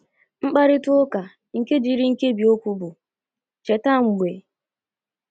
Mkparịta ụka nke jiri nkebi okwu bụ́ “ Cheta mgbe...? ”